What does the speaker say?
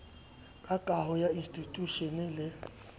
ka kaho ya institjhushene le